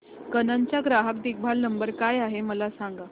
canon चा ग्राहक देखभाल नंबर काय आहे मला सांग